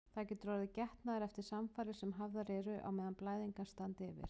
Það getur orðið getnaður eftir samfarir sem hafðar eru á meðan blæðingar standa yfir.